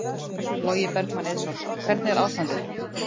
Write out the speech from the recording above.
Logi Bergmann Eiðsson: Hvernig er ástandið?